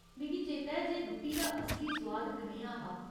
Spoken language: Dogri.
मिगी चेता ऐ जे रुट्टी दा असली सुआद कनेहा हा।